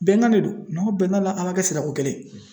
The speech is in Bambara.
Bɛnkan de don n'a bɛnn'a la an b'a kɛ sarakokelen ye